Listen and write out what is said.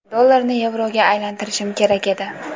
Dollarni yevroga aylantirishim kerak edi.